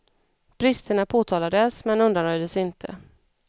Bristerna påtalades, men undanröjdes inte.